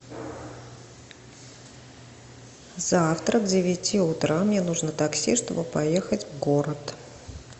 завтра к девяти утра мне нужно такси чтобы поехать в город